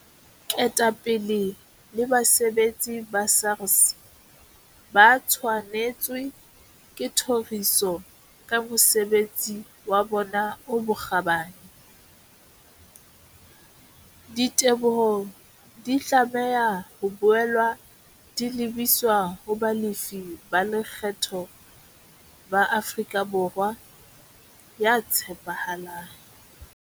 Ketapele le basebetsi ba SARS ba tshwanetswe ke thoriso ka mosebesi wa bona o bokgabani. Diteboho di tlameha ho boela di lebiswa ho balefi ba lekgetho ba Afrika Borwa ya tshepahalang.